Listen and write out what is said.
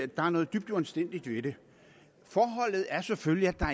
der er noget dybt uanstændigt ved det forholdet er selvfølgelig at der